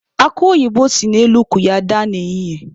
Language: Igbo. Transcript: Akụ oyibo si n'elu ukwu ya daa n'ehihie.